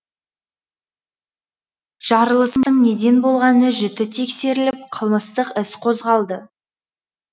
жарылыстың неден болғаны жіті тексеріліп қылмыстық іс қозғалды